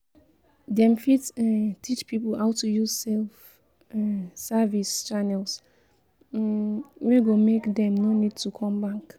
Dem fit um teach pipo how to use self um service channels um wey go make dem no need to come bank